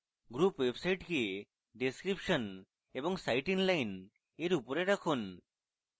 group website কে description এবং site inline এর উপরে রাখুন